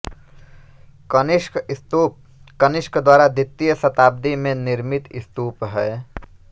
कनिष्क स्तूप कनिष्क द्वारा द्वितीय शताब्दी में निर्मित स्तूप है